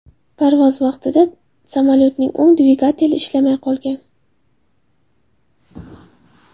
Parvoz vaqtida samolyotning o‘ng dvigateli ishlamay qolgan.